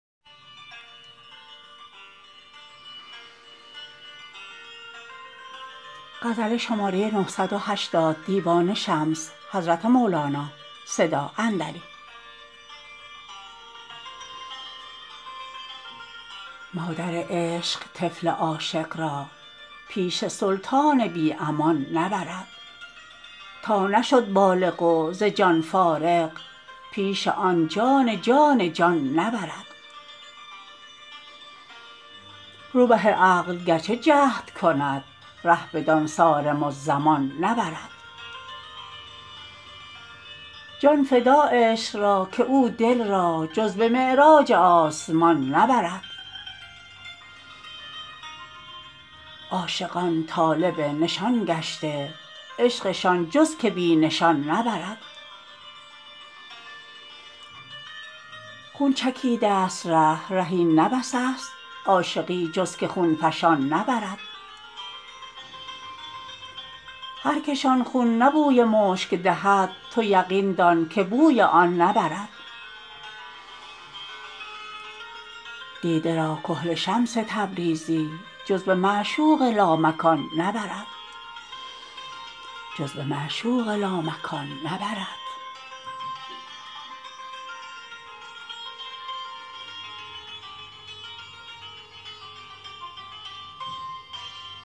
مادر عشق طفل عاشق را پیش سلطان بی امان نبرد تا نشد بالغ و ز جان فارغ پیش آن جان جان جان نبرد روبه عقل گرچه جهد کند ره بدان صارم الزمان نبرد جان فدا عشق را که او دل را جز به معراج آسمان نبرد عاشقان طالب نشان گشته عشقشان جز که بی نشان نبرد خون چکیده ست ره ره این نه بس است عاشقی جز که خون فشان نبرد هر کشان خون نه بوی مشک دهد تو یقین دان که بوی آن نبرد دیده را کحل شمس تبریزی جز به معشوق لامکان نبرد